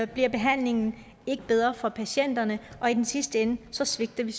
bliver behandlingen ikke bedre for patienterne og i den sidste ende svigter vi